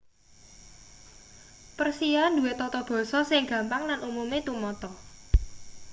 persia duwe tata basa sing gampang lan umume tumata